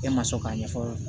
E ma sɔn k'a ɲɛfɔ